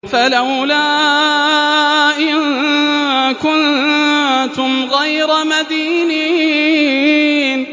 فَلَوْلَا إِن كُنتُمْ غَيْرَ مَدِينِينَ